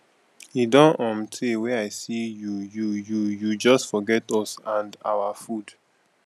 e don um tey wey i see you you you you just forget us and our food